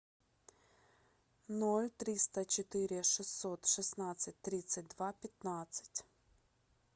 ноль триста четыре шестьсот шестнадцать тридцать два пятнадцать